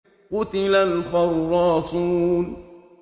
قُتِلَ الْخَرَّاصُونَ